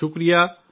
نمسکار